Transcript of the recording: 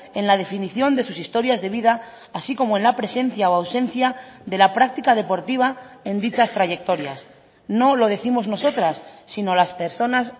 en la definición de sus historias de vida así como en la presencia o ausencia de la práctica deportiva en dichas trayectorias no lo décimos nosotras sino las personas